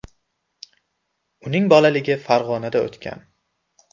Uning bolaligi Farg‘onada o‘tgan.